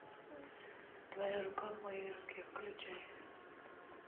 твоя рука в моей руке включай